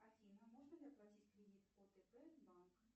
афина можно ли оплатить кредит отп банк